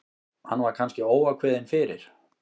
Hann var kannski óákveðinn fyrir.